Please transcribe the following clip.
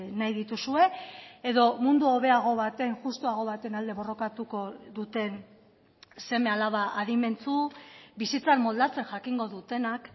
nahi dituzue edo mundu hobeago baten justuago baten alde borrokatuko duten seme alaba adimentsu bizitzan moldatzen jakingo dutenak